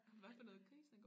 Hva for noget grisene går